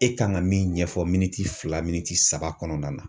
E kan ka min ɲɛfɔ miniti fila min saba kɔnɔna na